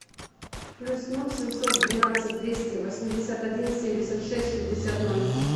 плюс ноль семьсот двенадцать двести восемьдесят один семьдесят шесть шестьдесят ноль